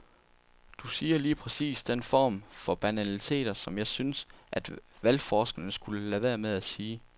Du siger lige præcis den form for banaliteter, som jeg synes, at valgforskere skulle lade være med at sige.